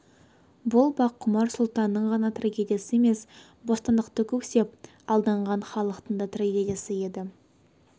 бұл баққұмар сұлтанның ғана трагедиясы емес бостандықты көксеп алданған халықтың да трагедиясы еді